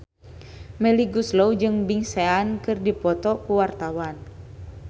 Melly Goeslaw jeung Big Sean keur dipoto ku wartawan